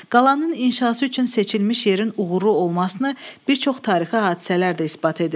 Qalanın inşası üçün seçilmiş yerin uğuru olmasını bir çox tarixi hadisələr də isbat edir.